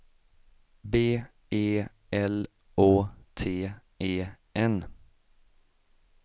B E L Å T E N